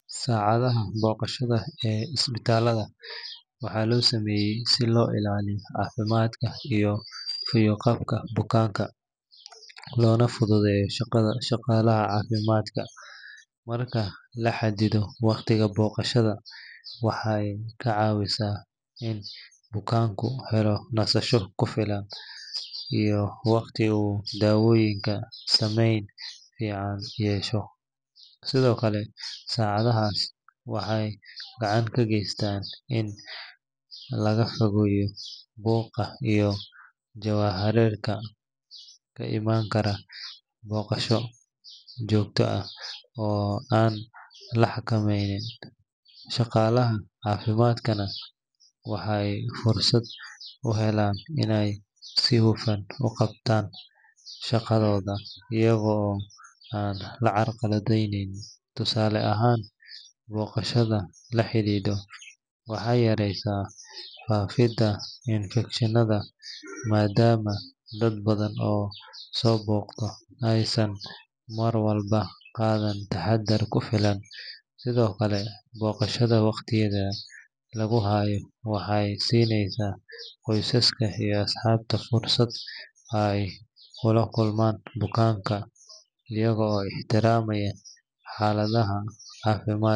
Saacadaha booqashada ee isbitaalada waxaa loo sameeyaa si loo ilaaliyo caafimaadka iyo fayo-qabka bukaanka, loona fududeeyo shaqada shaqaalaha caafimaadka. Marka la xadido waqtiga booqashada, waxay ka caawisaa in bukaanku helo nasasho ku filan iyo wakhti uu dawooyinku saameyn fiican yeesho. Sidoo kale, saacadahaas waxay gacan ka geystaan in laga fogaado buuqa iyo jahawareerka ka imaan kara booqasho joogto ah oo aan la xakameyn. Shaqaalaha caafimaadkana waxay fursad u helaan inay si hufan u qabtaan shaqadooda iyaga oo aan la carqaladeyn. Tusaale ahaan, booqashada la xadido waxay yareysaa faafidda infekshannada maadaama dad badan oo soo booqda aysan mar walba qaadan taxaddar ku filan. Sidoo kale, booqashada waqtigeeda lagu hayo waxay siinaysaa qoysaska iyo asxaabta fursad ay ula kulmaan bukaanka iyaga oo ixtiraamaya xaaladda caafimaad.